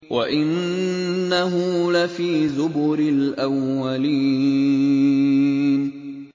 وَإِنَّهُ لَفِي زُبُرِ الْأَوَّلِينَ